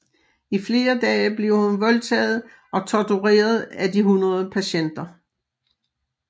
I flere dage bliver hun voldtaget og tortureret af de 100 patienter